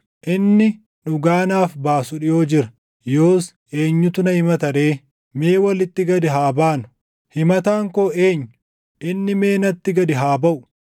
Inni dhugaa naaf baasu dhiʼoo jira. Yoos eenyutu na himata ree? Mee walitti gad haa baanu! Himataan koo eenyu? Inni mee natti gad haa baʼu!